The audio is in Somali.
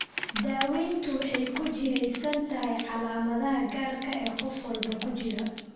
Daaweyntu waxay ku jihaysan tahay calaamadaha gaarka ah ee qof walba ku jira.